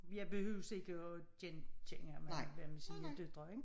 Jeg behøves ikke at genkende ham han var med sine døtre ik